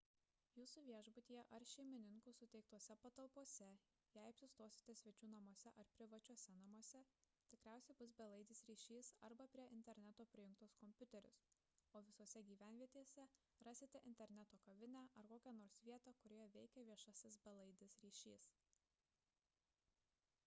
jūsų viešbutyje ar šeimininkų suteiktose patalpose jei apsistosite svečių namuose ar privačiuose namuose tikriausiai bus belaidis ryšys arba prie interneto prijungtas kompiuteris o visose gyvenvietėse rasite interneto kavinę ar kokią nors vietą kurioje veikia viešasis belaidis ryšys